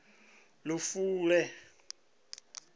lufule